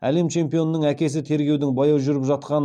әлем чемпионының әкесі тергеудің баяу жүріп жатқанын